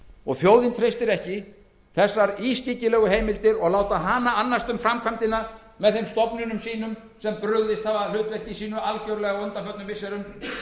og þjóðin treystir ekki þessar ískyggilegu heimildir og láta hana annast um framkvæmdina með þeim stofnunum sem algjörlega hafa brugðist hlutverki sínu á undanförnum missirum það